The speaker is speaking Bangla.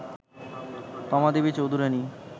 তমা দেবী চৌধুরানী